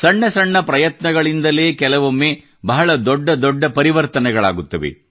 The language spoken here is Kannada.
ಸಣ್ಣ ಸಣ್ಣ ಪ್ರಯತ್ನಗಳಿಂದಲೇ ಕೆಲವೊಮ್ಮೆ ಬಹಳ ದೊಡ್ಡ ದೊಡ್ಡ ಪರಿವರ್ತನೆಗಳಾಗುತ್ತವೆ